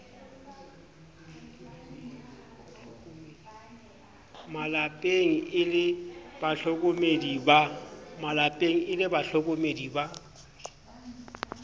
malepeng e le bahlokomedi ba